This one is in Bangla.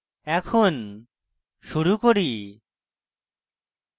এখন শুরু করি